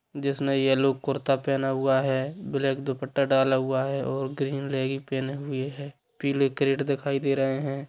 जिसने येल्लो कुर्ता पेना हुआ है ब्लाक दुपट्टा डाला हुआ है और ग्रीन लेगी पेनी हुई है पीले कैरट दिखाई दे रहे है।